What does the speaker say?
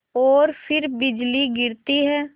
और फिर बिजली गिरती है